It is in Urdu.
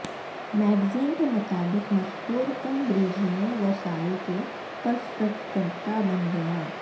میگزین کے مطابق مسحور کن بریجنےو سال کے پرستتکرتا بن گیا